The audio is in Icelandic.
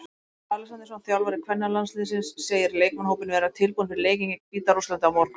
Freyr Alexandersson, þjálfari kvennalandsliðsins, segir leikmannahópinn vera tilbúinn fyrir leikinn gegn Hvíta-Rússlandi á morgun.